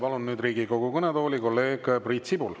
Palun nüüd Riigikogu kõnetooli kolleeg Priit Sibula.